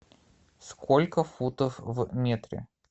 сколько футов в метре